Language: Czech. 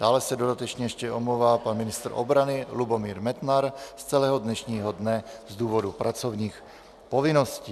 Dále se dodatečně ještě omlouvá pan ministr obrany Lubomír Metnar z celého dnešního dne z důvodu pracovních povinností.